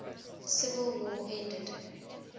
civil war ended